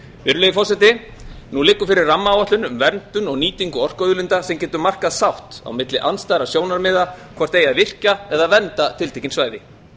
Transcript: virðulegi forseti nú liggur fyrir rammaáætlun um verndun og nýtingu orkuauðlinda sem getur markað sátt á milli andstæðra sjónarmiða hvort eigi að virkja eða vernda tiltekin svæði